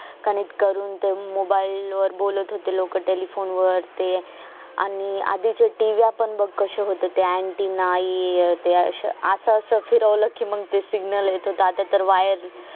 connect करून ते mobile वर बोलत होते लोक telephone ते आणि आधी च्या tivyaa पण बग कसे होते ते antenna अं त्या अश्या असं असं फिरवल कि मग signnal येत होत आता तर wire